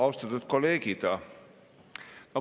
Austatud kolleegid!